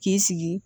K'i sigi